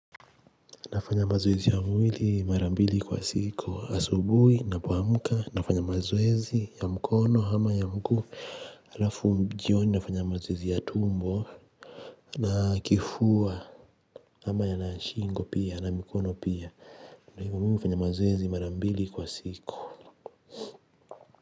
Nafanya mazoezi ya mwili mara mbili kwa siku asubuhi napoamka nafanya mazoezi ya mkono ama ya mguu. Halafu jioni nafanya mazoezi ya tumbo na kifua. Ama na ya shingo pia na mikono pia. Kwa hivyo, mimi nafanya mazoezi mara mbili kwa siku.